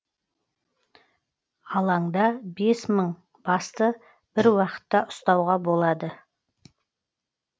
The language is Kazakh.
алаңда бес мың басты бір уақытта ұстауға болады